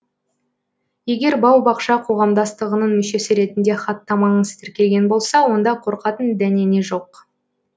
егер бау бақша қоғамдастығының мүшесі ретінде хаттамаңыз тіркелген болса онда қорқатын дәнеңе жоқ